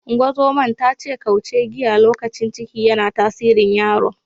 Ungozoman ta ce kauce giya lokacin ciki, yana tasirin yaron.